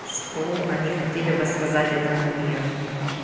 что они хотели бы сказать этому миру